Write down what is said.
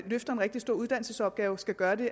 løfter en rigtig stor uddannelsesopgave skal gøre det